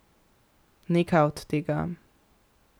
Nekaj od tega.